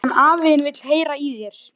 Hann afi þinn vill heyra í þér.